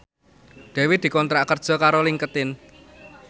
Dewi dikontrak kerja karo Linkedin